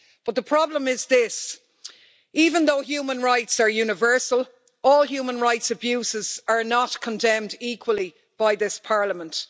But the problem is this even though human rights are universal, all human rights abuses are not condemned equally by this Parliament.